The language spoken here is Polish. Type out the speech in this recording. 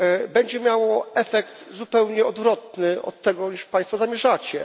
będzie miało efekt zupełnie odwrotny od tego, co Państwo zamierzacie.